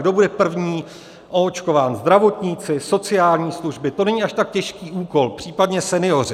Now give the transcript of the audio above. kdo bude první oočkován - zdravotníci, sociální služby, to není až tak těžký úkol, případně senioři.